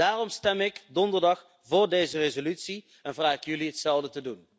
Daarom stem ik donderdag voor deze resolutie en vraag ik jullie hetzelfde te